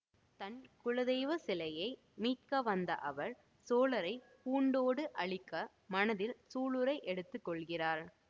தம் குலதெய்வ சிலையை மீட்க வந்த அவர் சோழரை பூண்டோடு அழிக்க மனத்தில் சூளுரை எடுத்து கொள்கிறார்